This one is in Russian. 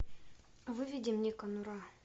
выведи мне конура